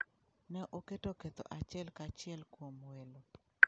Ne oketo ketho achiel kachiel kuom welo.